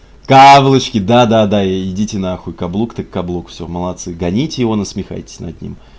каблучки да да идите нахуй каблук так каблук всё молодцы гоните его насмехайтесь над ним